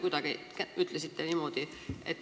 Kuidagi niimoodi te ütlesite.